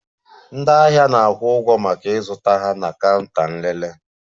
Ndị ahịa na-akwụ ụgwọ maka ịzụta ha na counter nlele